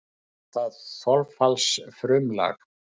Kallast það þolfallsfrumlag.